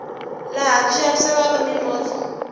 laha ku xavisiwa mimovha